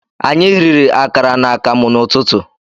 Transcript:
Anyị riri akara na akamụ n'ụtụtụ